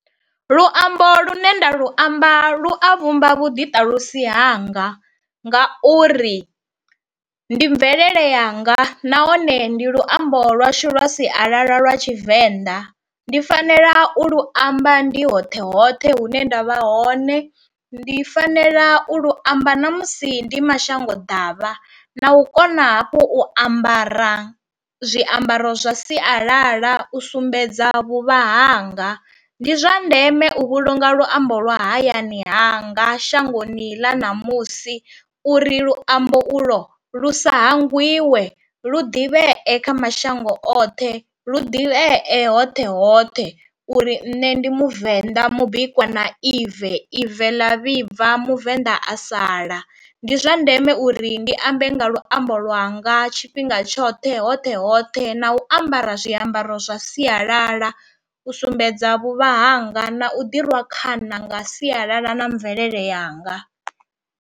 Luambo lune nda lu amba lu a vhumba vhuḓiṱalusi hanga, ngauri ndi mvelele yanga nahone ndi luambo lwashu lwa sialala lwa tshivenḓa, ndi fanela u lu amba ndi hoṱhe hoṱhe hune ndavha hone, ndi fanela u lu amba ṋamusi ndi mashango ḓavha, na u kona hafhu u ambara zwiambaro zwa sialala u sumbedza vhuvha hanga, ndi zwa ndeme u vhulunga luambo lwa hayani hanga shangoni ḽa ṋamusi uri luambo u lwo lu sa hangwiwe lu ḓivhee kha mashango oṱhe lu ḓivhee hoṱhe hoṱhe uri nṋe ndi muvenḓa mubikwa na ive ive ḽa vhibva muvenḓa a sala, ndi zwa ndeme uri ndi ambe nga luambo lwanga tshifhinga tshoṱhe hoṱhe hoṱhe hoṱhe na u ambara zwiambaro zwa sialala, u sumbedza vhuvha hanga na u ḓi rwa khana nga sialala na mvelele yanga.